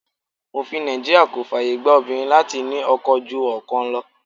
Òfin Nàìjíríà kò fàyè gba obìnrin láti ní ọkọ ju ọkan lọ.